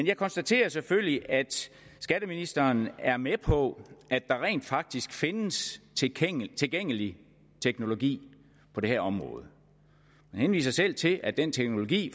jeg konstaterer selvfølgelig at skatteministeren er med på at der rent faktisk findes tilgængelig tilgængelig teknologi på det her område man henviser selv til at den teknologi